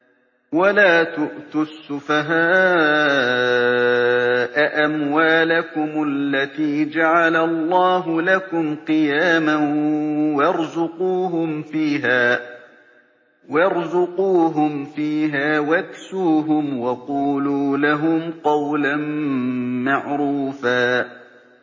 وَلَا تُؤْتُوا السُّفَهَاءَ أَمْوَالَكُمُ الَّتِي جَعَلَ اللَّهُ لَكُمْ قِيَامًا وَارْزُقُوهُمْ فِيهَا وَاكْسُوهُمْ وَقُولُوا لَهُمْ قَوْلًا مَّعْرُوفًا